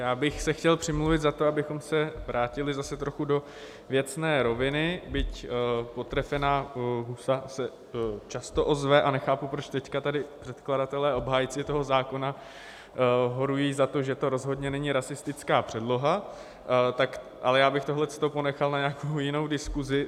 Já bych se chtěl přimluvit za to, abychom se vrátili zase trochu do věcné roviny, byť potrefená husa se často ozve a nechápu, proč teď tady předkladatelé, obhájci toho zákona, horují za to, že to rozhodně není rasistická předloha, ale já bych tohleto ponechal na nějakou jinou diskusi.